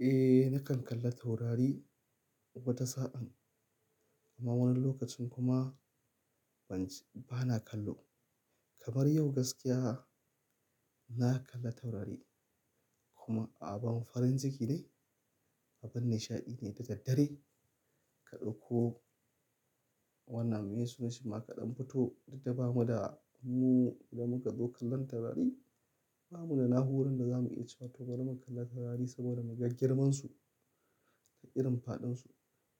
Eh, nakan kalla taurari wata sa'an, amma wani lokacin kuma ban, bana kallo. Kamar yau gaskiya na kalla taurari kuma abin farin ciki ne, abin nishaɗi ne da daddare ka ɗauko wannan maye sunan Shima kaɗan fito, duk da bamu da mu da muka zo kallon taurari, bamu da na'urorin da za mu iya cewa tobari mun kalla taurari saboda muga girmansu da irin faɗinsu.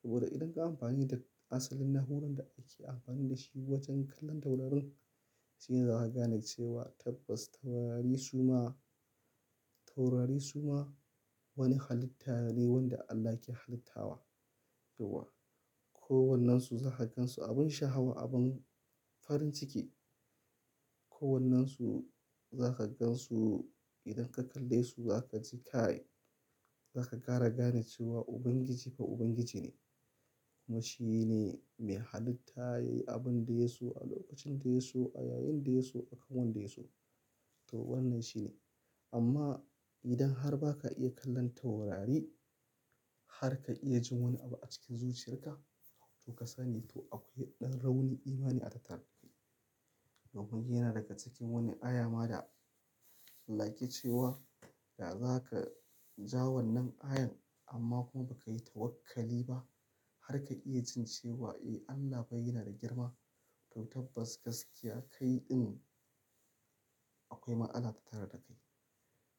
Saboda idan ka amfani da asalin na'urorin da ake amfani da shi wajen kallon taurarin, shine za ka gane cewa tabbas taurari su ma, taurari su ma wani halitta ne wanda Allah ke halitta wa. Yo wa, ko wannan su za ka gan su abin sha'awa, abin farin ciki ko wannan su za ka gan su idan ka kalle su za ka ji kai za ka ƙara gane cewa Ubangiji fa Ubangiji ne kuma shi ne mai halitta yayi abin da yaso a lokacin da yaso a yayin da yaso akan wanda yaso. To wannan shi ne. Amma idan har ba ka iya kallon taurari har ka iya jin wani abu a cikin zuciyarka, to ka sani to akwai ɗan rauni imani a tattare da kai. Saboda yana daga cikin wani aya ma da like yake cewa, da za ka ja wannan ayan amma kuma ba ka yi tawakkali ba har ka iya jin cewa, "Eh Allah bai yana da girma." To tabbas gaskiya kaiɗin akwai matsala a tattare da kai.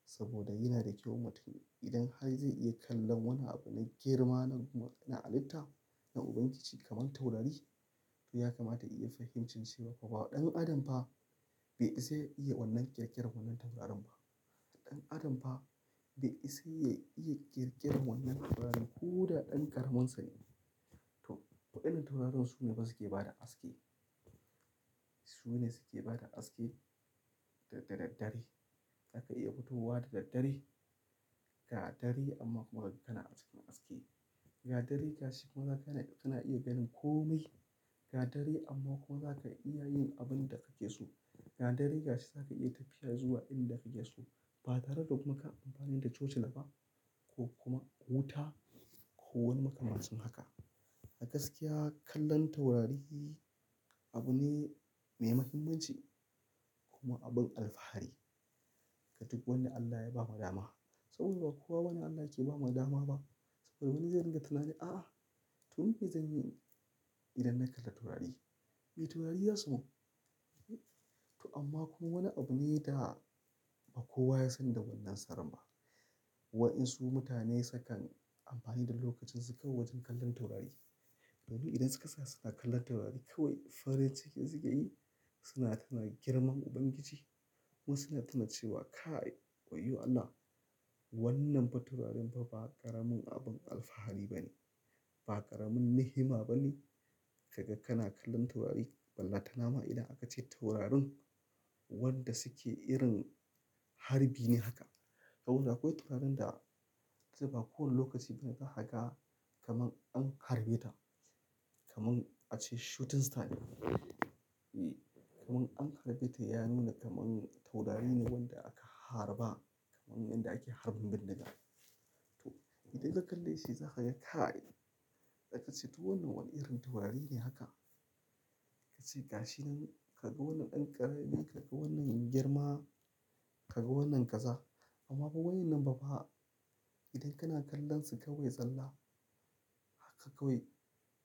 Saboda yana da kyau mutum idan har zai iya kallon wani abun girma na halitta, na Ubangiji kamar taurari, to ya kamata iya fahimci cewa fa ba ɗan adam ba be isa ya iya wannan ƙirƙiran wannan taurarin ba. Ɗan adam fa be isa ya iya ƙirƙiran wannan taurarin ko da ɗan ƙaramin sane. To, ko irin taurarin su ne fa suke bada aske. Su ne suke bada haske da daddare. Aka iya fito wa da daddare, ga dare amma kuma kana cikin haske. Ga dare ga shi kuma za ka, kana iya ganin komai. Ga dare amma kuma za ka iya yin abin da kake so. Ga dare ga shi za ka iya tafiya zuwa inda kake so ba tare da kuka amfani da tocila ba ko kuma wuta ko wani maka mancin haka. A gaskiya kallon taurari abu ne mai muhimmanci kuma abin alfahari. Ga duk wanda Allah ya ba ma dama. Saboda ba kowa bane Allah yake ba ma dama ba. Saboda wani zai ringa tunani, "A a, to me zanyi idan na kalla taurari?" Me taurari ya samu? To amma kuma wani abu ne da ba kowa ya san da wannan saraba. Waɗansu mutane sukan amfani da lokacin su kawai wajen kallon taurari. To du idan suka tsaya suna kallon taurari kawai farin ciki suke yi. Suna tunanin girman Ubangiji kuma suna tuna cewa, "Kai, wai yo Allah wannan fa taurarin fa ba ƙaramin abin alfahari ba ne, ba ƙaramin nihima ba ne." Kaga kana kallon taurari, balle ta nama idan aka ce taurarin wanda suke irin harbi ne haka. Saboda akwai taurarin da zai ba kowane lokaci bin ga haga kamar an harbe ta, kamar aka ce shooting star. E, kamar an harbe ta ya nuna kamar taurari ne wanda aka harba kamar wanda ake harbin bindiga. To idan ka kalle shi za ka yi kai. Da ka ce to wannan wani irin taurari ne haka. Ka ce ga shi nan kaga wannan ɗan ƙarami, kaga wannan girma, kaga wannan kaza. Amma ba wa'innan ba fa idan kana kallon su kawai zalla haka kawai,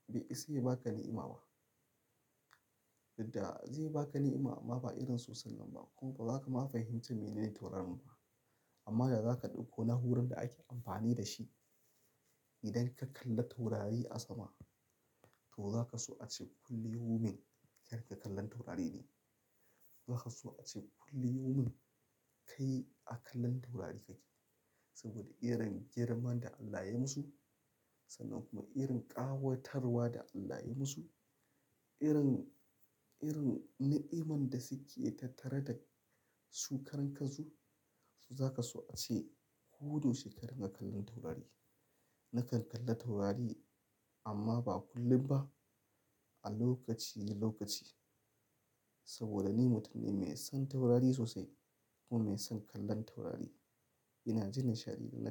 bai isa ya ba ka ni'ima ba. Duk da zai ba ka ni'ima amma ba irin sosai nan ba. Kuma ba za ka ma fahimci mene taurarin ba. Amma da za ka ɗauko na'uran da ake amfani da shi idan ka kalla taurari a sama, to za ka so ace kullu yaumin kar ka kallan taurari ne. Za ka so ace kullum yaumin kai a kallon taurari kake. Saboda irin girman da Allah ya musu sannan kuma irin ƙawatarwa da Allah ya musu, irin, irin na'iman da suke tattare da su karan kan su, to za ka so ace ko dayaushe karin ga kallon taurari. Nakan kalla taurari amma ba kullum ba, a lokaci lokaci. Saboda ni mutum ne mai son taurari sosai kuma mai son kallon taurari. Ina jin nishaɗi idan na kalla taurari.